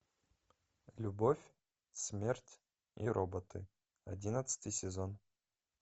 любовь смерть и роботы одиннадцатый сезон